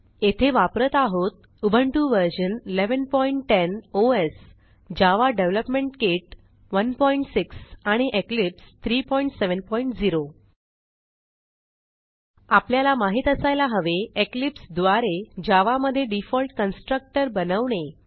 येथे वापरत आहोत Ubuntu version 1110 OS Java development kit 16 आणि इक्लिप्स 370 आपल्याला माहित असायला हवे इक्लिप्स द्वारे जावा मधे डिफॉल्ट कन्स्ट्रक्टर बनवणे